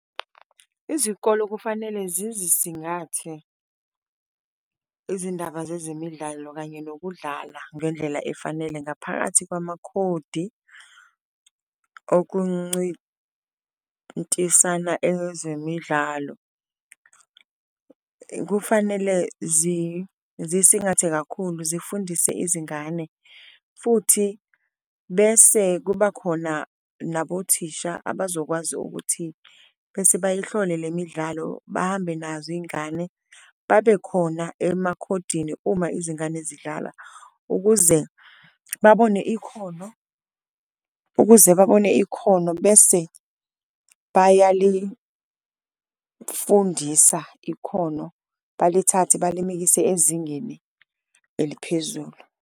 Izikolo kufanele zizisingathe izindaba zezemidlalo kanye nokudlala ngendlela efanele ngaphakathi kwamakhodi okuncintisana ezemidlalo, kufanele zisingathe kakhulu zifundise izingane. Futhi bese kuba khona nabothisha abazokwazi ukuthi bese bayihlole le midlalo, bahambe nazo iy'ngane babe khona emakhodini uma izingane zidlala ukuze babone ikhono. Ukuze babone ikhono bese bayalifundisa ikhono, balithathe balimikise ezingeni eliphezulu.